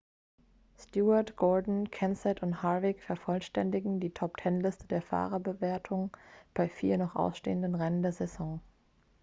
stewart gordon kenseth and harvick vervollständigen die top-ten-liste der fahrerwertung bei vier noch ausstehenden rennen der saison